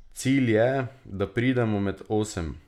Cilj je, da pridemo med osem.